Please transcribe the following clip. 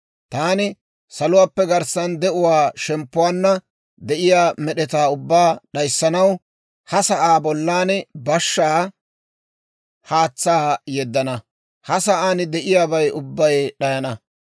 «Taani saluwaappe garssan de'uwaa shemppuwaanna de'iyaa med'etaa ubbaa d'ayssanaw, ha sa'aa bollan bashshaa haatsaa yeddana; ha sa'aan de'iyaabay ubbay d'ayana.